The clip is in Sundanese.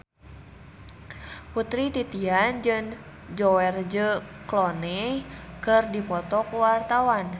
Putri Titian jeung George Clooney keur dipoto ku wartawan